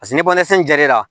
Paseke ni banasen jar'i la